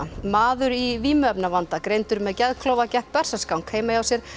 maður í vímuefnavanda greindur með geðklofa gekk berserksgang heima hjá sér